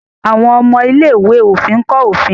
àwọn ọmọ ilé-ìwé òfin nkọ òfin.